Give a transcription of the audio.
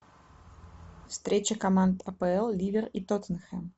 встреча команд апл ливер и тоттенхэм